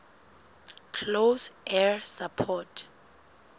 close air support